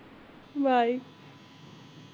bye